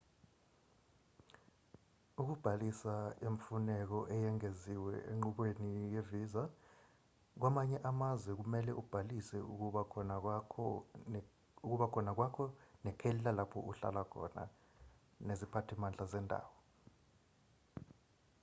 ukubhalisa imfuneko eyengeziwe enqubweni ye-visa kwamanye amazwe kumelwe ubhalise ukuba khona kwakho nekheli lalapho uhlala khona neziphathimandla zendawo